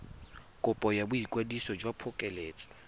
kopo ya boikwadiso jwa phokoletso